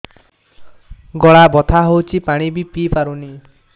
ଗଳା ବଥା ହଉଚି ପାଣି ବି ପିଇ ପାରୁନି